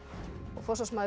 forsvarsmaður